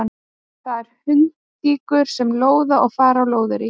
Það eru hundtíkur sem lóða og fara á lóðarí.